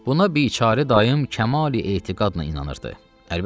Buna biçare dayım kəmalı etiqadla inanırdı.